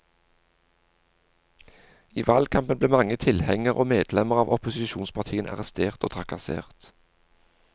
I valgkampen ble mange tilhengere og medlemmer av opposisjonspartiene arrestert og trakassert.